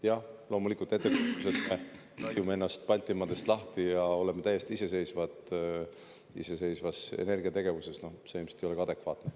Jah, loomulikult ettekujutus, et me rebime Baltimaadest lahti ja oleme täiesti iseseisvad oma energiategevuses – see ilmselt ei ole ka adekvaatne.